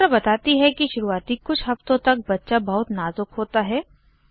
doctor बताती है कि शुरूआती कुछ हफ़्तों तक बच्चा बहुत नाज़ुक होता है